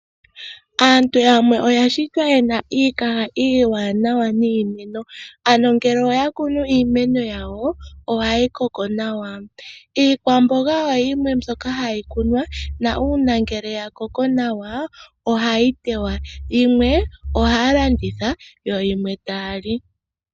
Aantu yamwe oya shitwa yena iikaha iiwanawa niimeno ano ngele oya kunu iimeno yawo ohayi koko nawa. Iikwamboga oyo yimwe mbyoka hayi kunwa ngele ya koko nawa ohayi tewa yimwe tayi landithwa yimwe tayali.